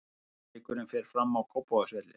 Leikurinn fer fram á Kópavogsvelli.